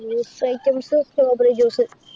Juice items strawberry juice